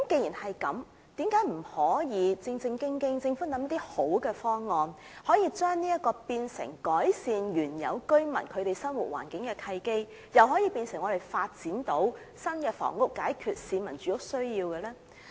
因此，政府何不制訂一套良好方案，把這些新發展項目變為"改善原有居民生活環境"的契機，也成為發展新房屋解決市民住屋需要的方案呢？